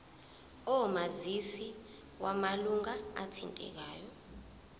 omazisi wamalunga athintekayo